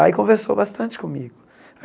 Aí conversou bastante comigo.